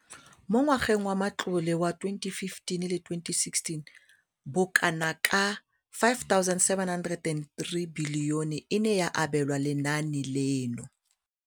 Mo ngwageng wa matlole wa 2015,16, bokanaka R5 703 bilione e ne ya abelwa lenaane leno.